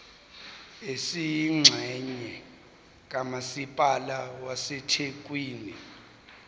esiyingxenye kamasipala wasethekwini